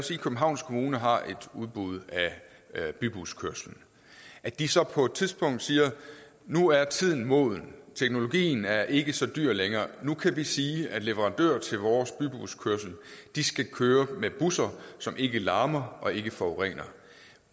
sige københavns kommune har et udbud af bybuskørslen at de så på et tidspunkt siger nu er tiden moden teknologien er ikke så dyr længere nu kan vi sige at leverandøren til vores bybuskørsel skal køre med busser som ikke larmer og ikke forurener